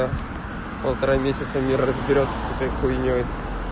полтора месяца не разберётся с этой хуйнёй